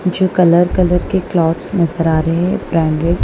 जो कलर-कलर के क्लोथ्स नजर आ रहे हैं ब्रांडर्ड --